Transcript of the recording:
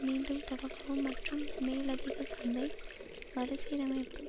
மீண்டும் தொடங்கவும் மற்றும் மேலதிக சந்தை மறுசீரமைப்பும்